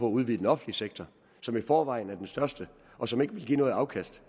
udvide den offentlige sektor som i forvejen er den største og som ikke vil give noget afkast